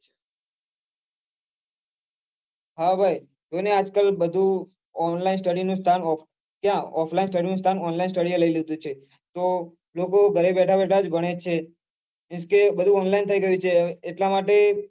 હા ભાઈ તેને આજ કાલ બઘા online study નું ક્યાં offline study નું કામ online study એ લઈ લીઘુ છે તો લોકો ઘરે બેઠા બેઠા ભણે છે કે બઘુ online થઈ ગયું છે એટલા માટે